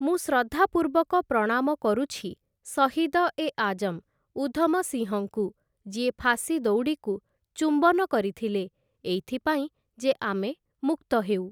ମୁଁ ଶ୍ରଦ୍ଧାପୂର୍ବକ ପ୍ରଣାମ କରୁଛି ଶହୀଦ ଏ ଆଜମ୍ ଉଧମ ସିଂହଙ୍କୁ, ଯିଏ ଫାଶୀ ଦଉଡ଼ିକୁ ଚୁମ୍ବନ କରିଥିଲେ, ଏଇଥି ପାଇଁ ଯେ ଆମେ ମୁକ୍ତ ହେଉ ।